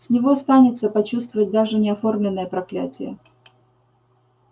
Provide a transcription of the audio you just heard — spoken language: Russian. с него станется почувствовать даже неоформленное проклятие